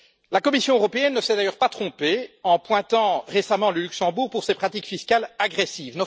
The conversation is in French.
La Commission européenne ne s'est d'ailleurs pas trompée en épinglant récemment le Luxembourg pour ses pratiques fiscales agressives.